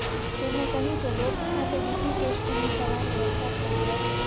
તેમણે કહ્યું કે લોર્ડ્સ ખાતે બીજી ટેસ્ટની સવારે વરસાદ પડ્યો હતો